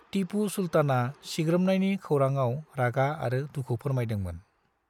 टीपु सुल्ताना सिग्रोमनायनि खौराङाव रागा आरो दुखु फोरमायदोंमोन।